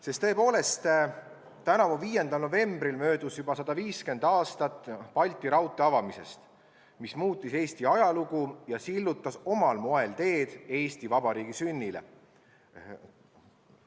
Sest tõepoolest, tänavu 5. novembril möödus juba 150 aastat Balti raudtee avamisest, mis muutis Eesti ajalugu ja sillutas omal moel teed Eesti Vabariigi sünnile.